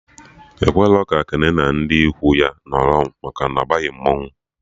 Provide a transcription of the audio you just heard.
Ekwerọ ka Kene na ndị ikwu ya nọrọ maka na ọ baghị mmanwụ